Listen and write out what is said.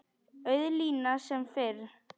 Auð lína sem fyrr.